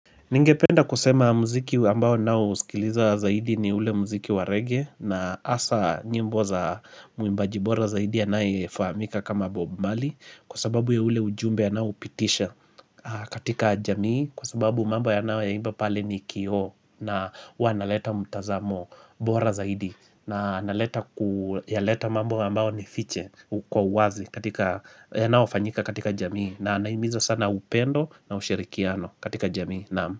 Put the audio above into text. Ningependa kusema mziki ambao ninaosikiliza zaidi ni ule mziki wa reggea na hasa nyimbo za muimbaji bora zaidi anyefahamika kama Bob Marley, kwa sababu ya ule ujumbe anaoupitisha katika jamii, kwa sababu mambo anayoyaimba pale ni kioo. Na huwa analeta mtazamo bora zaidi. Na analeta kuyaleta mabo ambao ni fiche. Uko wa uwazi yanaofanyika katika jamii na anaimiza sana upendo na ushirikiano, katika jamii. Naam.